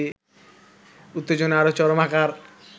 উত্তেজনা আরো চরম আকার